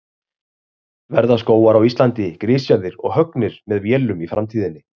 Verða skógar á Íslandi grisjaðir og höggnir með vélum í framtíðinni?